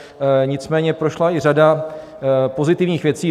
Nicméně prošla i řada pozitivních věcí.